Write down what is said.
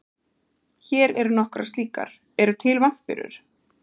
Hér eru nokkrar slíkar: Eru til vampírur?